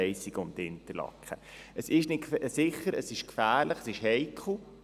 Die Strecke ist nicht sicher, sie ist gefährlich, sie ist heikel.